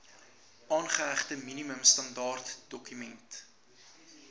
aangehegte minimum standaardedokument